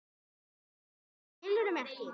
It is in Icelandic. Hvað, skilurðu mig ekki?